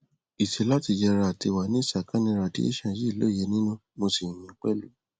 ìtì láti yẹra àti wà ní ìsàkánì radiation yìi lóye nínú mo sì yìn yín pẹlú